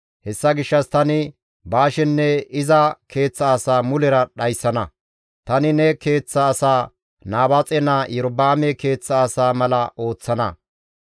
Hessa gishshas tani Baashenne iza keeththa asaa mulera dhayssana; tani ne keeththa asaa Nabaaxe naa Iyorba7aame keeththa asaa mala ooththana.